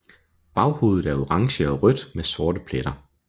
Baghovedet er orange og rødt med sorte pletter